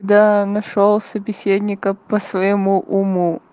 да нашёл собеседника по-своему уму